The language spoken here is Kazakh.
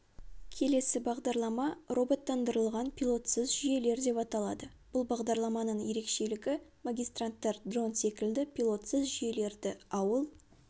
келесі бағдарлама роботтандырылған пилотсыз жүйелер деп аталады бұл бағдарламаның ерекшелігі магистранттар дрон секілді пилотсыз жүйелерді ауыл